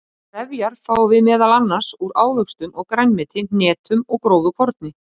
Trefjar fáum við meðal annars úr ávöxtum og grænmeti, hnetum og grófu korni.